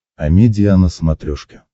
амедиа на смотрешке